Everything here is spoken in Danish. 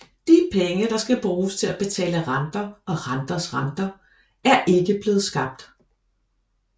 De penge der skal bruges til at betale renter og renters rente er ikke blevet skabt